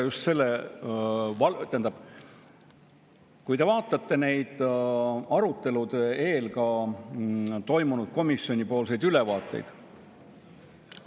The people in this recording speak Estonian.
Meenutage arutelu eel komisjonis toimunud ülevaate andmist.